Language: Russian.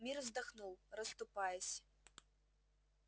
мир вздохнул расступаясь